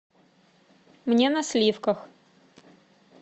мне на сливках